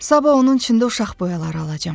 Sabah onun üçün də uşaq boyaları alacam.